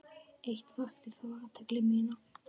Eitt vakti þó athygli mína.